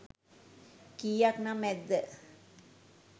කීයක් නම් ඇද්ද?